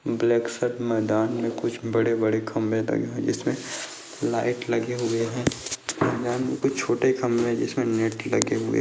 black सा मैदान में कुछ बड़े बड़े खंबे लगे हुए जिसमे लाइट लगी हुई है यहा कुछ छोटे कमबे जिसमे नेट लगे हुए --